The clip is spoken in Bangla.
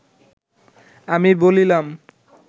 আমি বলিলাম